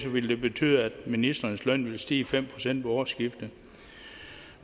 ville det betyde at ministrenes løn ville stige fem procent ved årsskiftet